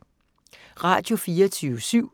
Radio24syv